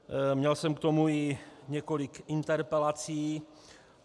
Měl jsem k tomu i několik interpelací.